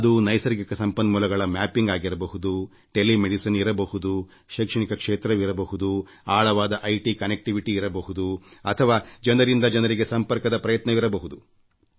ಅದು ನೈಸರ್ಗಿಕ ಸಂಪನ್ಮೂಲಗಳ ಮ್ಯಾಪಿಂಗ್ ಆಗಿರಬಹುದು ಟೆಲಿಮೆಡಿಸಿನ್ ಇರಬಹುದು ಶೈಕ್ಷಣಿಕ ಕ್ಷೇತ್ರವಿರಬಹುದು ಆಳವಾದ ಮಾಹಿತಿ ತಂತ್ರಜ್ಞಾನ ಸಂಪರ್ಕವೇ ಇರಬಹುದು ಅಥವಾ ಜನರಿಂದ ಜನರಿಗೆ ಸಂಪರ್ಕದ ಪ್ರಯತ್ನವಿರಬಹುದು